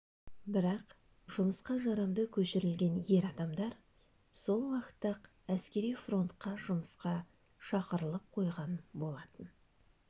бірақ жұмысқа жарамды көшірілген ер адамдар сол уақытта-ақ әскери фронтқа жұмысқа шақырылып қойылған болатын